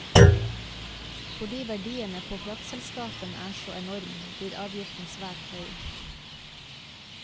Fordi verdiene på kraftselskapene er så enorm, blir avgiften svært høy.